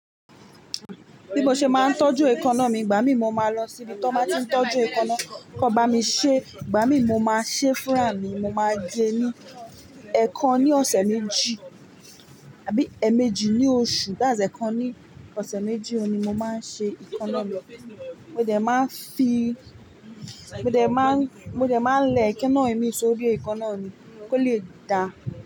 Bí mo ṣe máa ń tọ́jú ẹka náà mi, ìgbà mí mo máa lọ síbi tí wọ́n máa tí n tọ́jú ẹka náà, kò bá mi ṣẹ́, ìgbà mí mo máa ṣe fúráà mi, mo máa gẹ́ ní ẹẹkan ní ọ̀sẹ̀ méjì, àbí èèmejì ní oṣù, that's ẹẹkan ní ọ̀sẹ̀ méjì ohun ni mo máa ń ṣe ẹkanáà mi. Mo dẹ̀ máa ń fi, mo dẹ̀ máa ń, mo dẹ̀ máa ń lẹ ẹkenáà mi sórí ẹkenáà mi kó le dà.